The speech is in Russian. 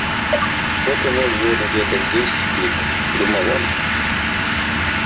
вот и мой взвод где-то здесь спит думал он